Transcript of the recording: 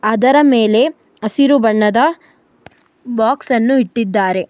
ಅದರ ಮೇಲೆ ಹಸಿರು ಬಣ್ಣದ ಬಾಕ್ಸನ್ನು ಇಟ್ಟಿದ್ದಾರೆ.